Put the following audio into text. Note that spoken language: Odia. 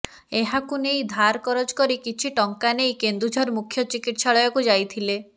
ଏହାକୁ ନେଇ ଧାର କରଜ କରି କିଛି ଟଙ୍କା ନେଇ କେନ୍ଦୁଝର ମୁଖ୍ୟ ଚିକିତ୍ସାଳୟକୁ ଯାଇଥିଲେ